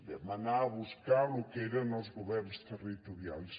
vam anar a buscar lo que eren els governs territorials